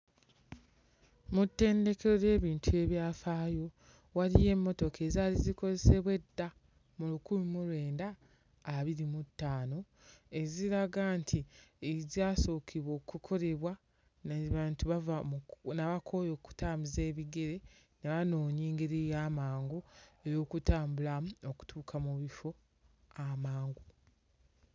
Mu ttendeke ly'ebintu ebyafaayo waliyo emmotoka ezaali zikozesebwa edda mu lukumi mu lwenda abiri mu ttaano eziraga nti ezaasokebwa okukolebwa naye bantu bava mu ku n'akooye okutambuza ebigere n'anoonya engeri ey'amangu ey'okutambulamu okutuuka mu bifo amangu.